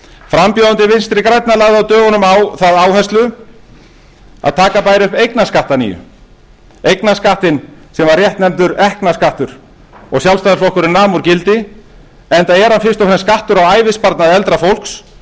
frambjóðandi vinstri grænna lagði á dögunum á það áherslu að taka bæri upp eignarskatt að nýju eignarskattinn sem var réttnefndur ekknaskattur og sjálfstæðisflokkurinn nam úr gildi enda er hann fyrst og fremst skattur á ævisparnað eldra fólks það